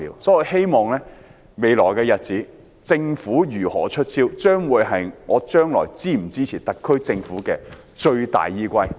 在未來的日子，政府如何"出招"，將會是我是否支持特區政府的最大依歸。